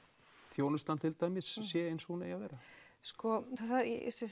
þjónustan til dæmis sé eins og hún eigi að vera sko það